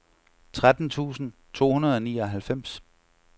tretten tusind to hundrede og nioghalvfems